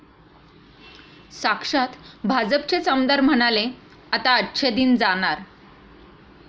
साक्षात भाजपचेच आमदार म्हणाले 'आता अच्छे दिन जाणार'!